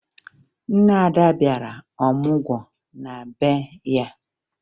Nne Ada bịara ọmụgwọ na be ya